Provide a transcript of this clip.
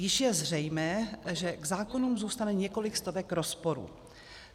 Již je zřejmé, že k zákonům zůstane několik stovek rozporů.